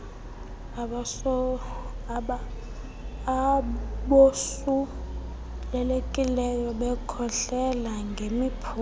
abosulelekileyo bekhohlela ngemiphunga